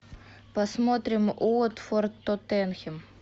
посмотрим уотфорд тоттенхэм